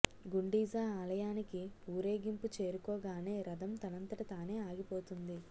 గుండీజా ఆలయానికి వూరేగింపు చేరుకోగానే రథం తనంతట తానే ఆగిపోతుంది